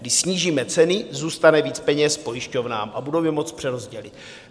Když snížíme ceny, zůstane více peněz pojišťovnám a budou je moct přerozdělit.